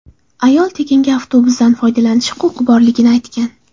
Ayol tekinga avtobusdan foydalanishi huquqi borligini aytgan.